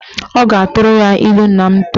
Ọ ga-atụrụ ya ilu nna m tụrụ.